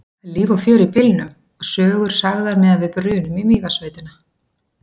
Það er líf og fjör í bílnum og sögur sagðar meðan við brunum í Mývatnssveitina.